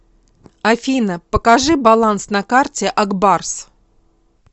афина покажи баланс на карте акбарс